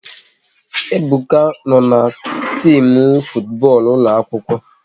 Ebuka no n'timu futu bọọlụ ụlọ akwụkwọ